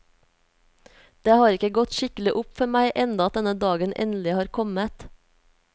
Det har ikke gått skikkelig opp for meg enda at denne dagen endelig har kommet.